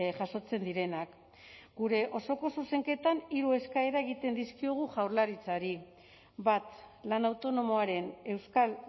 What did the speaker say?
jasotzen direnak gure osoko zuzenketan hiru eskaera egiten dizkiogu jaurlaritzari bat lan autonomoaren euskal